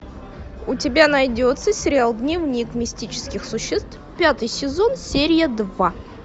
у тебя найдется сериал дневник мистических существ пятый сезон серия два